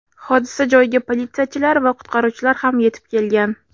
Hodisa joyiga politsiyachilar va qutqaruvchilar ham yetib kelgan.